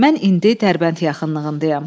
mən indi Dərbənd yaxınlığındayam.